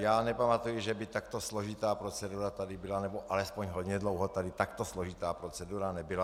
Já nepamatuji, že by takto složitá procedura tady byla - nebo alespoň hodně dlouho tady takto složitá procedura nebyla.